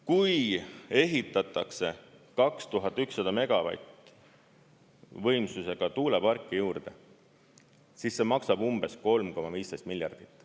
Kui ehitatakse 2100 megavati võimsusega tuuleparke juurde, siis see maksab umbes 3,15 miljardit.